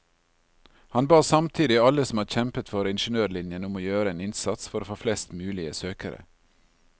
Han ba samtidig alle som har kjempet for ingeniørlinjen, om å gjøre en innsats for å få flest mulige søkere.